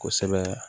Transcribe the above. Kosɛbɛ